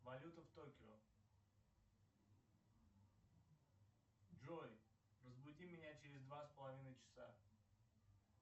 валюта в токио джой разбуди меня через два с половиной часа